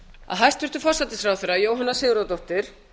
að hæstvirtur forsætisráðherra jóhanna sigurðardóttir